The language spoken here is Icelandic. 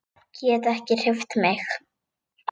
Get ekki hreyft mig.